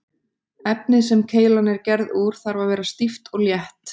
Efnið sem keilan er gerð úr þarf að vera stíft og létt.